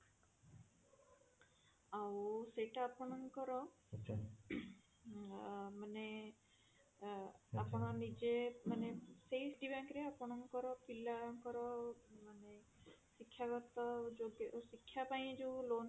ଆଉ ସେଇଟା ଅପଙ୍କର ଆ ମାନେ ଆ ଆପଣ ନିଜେ ମାନେ ସେଇ Citi bank ରେ ଆପଣଙ୍କର ପିଲାଙ୍କର ମାନେ ଶିକ୍ଷାଗତ ଯୋଗ୍ୟ ଶିକ୍ଷା ପାଇଁ ଯୋଉ loan